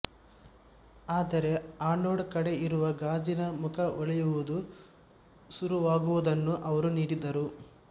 ಆದರೆ ಆನೋಡ್ ಕಡೆ ಇರುವ ಗಾಜಿನ ಮುಖ ಓಳೆಯೂವುದು ಸುರುವಾಗುವುದ್ದನ್ನು ಅವರು ನೋಡಿದರು